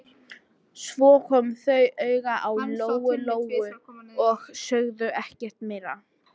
Svo komu þau auga á Lóu-Lóu og sögðu ekkert meira.